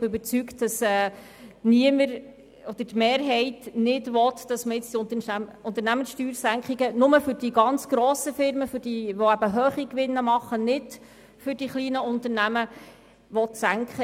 Ich bin davon überzeugt, dass niemand oder mindestens die Mehrheit nicht wünscht, dass die Unternehmenssteuersenkungen nur für die ganz grossen Firmen mit hohen Gewinnen und nicht für die kleinen gelten sollen.